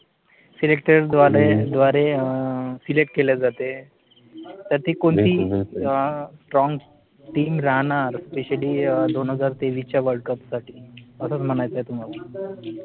SELECTOR ग्वारे द्वारे SELECT केल्या जाते तर ती कोणती STRONG TEAM राहणार? SPECIALLY दोन हजार तेवीसच्या WORLDCUP साठी? असच म्हणायचं न तुम्हाला?